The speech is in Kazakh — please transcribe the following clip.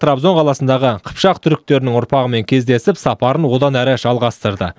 трабзон қаласындағы қыпшақ түріктерінің ұрпағымен кездесіп сапарын одан әрі жалғастырды